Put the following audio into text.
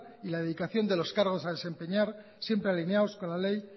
y la dedicación de los cargos a desempeñar siempre alineados con la ley